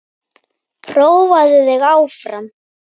Prófaðu þig áfram!